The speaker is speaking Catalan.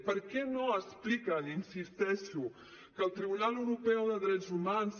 per què no expliquen hi insisteixo que el tribunal europeu de drets humans